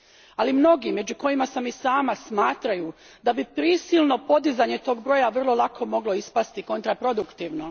Ali mnogi, među kojima sam i sama, smatraju da bi prisilno podizanje tog broja vrlo lako moglo ispasti kontraproduktivno.